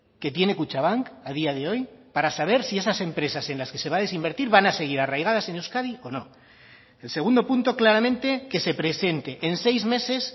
que tiene kutxabank a día de hoy para saber si esas empresas en las que se va a desinvertir van a seguir arraigadas en euskadi o no el segundo punto claramente que se presente en seis meses